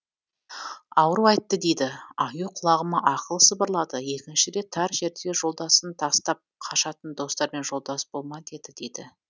ауру айтты дейді аю құлағыма ақыл сыбырлады екінші рет тар жерде жолдасын тастап қашатын достармен жолдас болма деді дейді